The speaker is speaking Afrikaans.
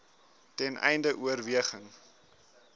ten einde oorweging